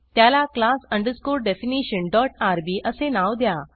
त्याला class definitionrb असे नाव द्या